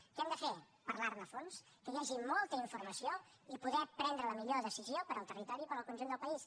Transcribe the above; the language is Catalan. què hem de fer parlar ne a fons que hi hagi molta informació i poder prendre la millor decisió per al territori i per al conjunt del país